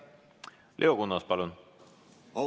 Leo Kunnas, palun!